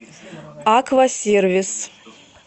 аквасервис